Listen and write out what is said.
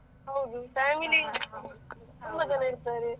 ಹೌದು family ತುಂಬಾ ಜನ ಇರ್ತಾರೆ.